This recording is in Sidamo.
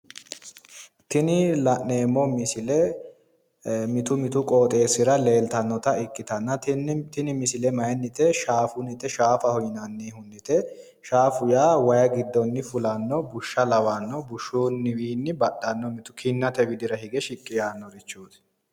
Tini la'neemmo misile mitu mitu qooxeessira leeltannota ikkitano su'masi shaafaho yinanni wayi giddonni fulannoho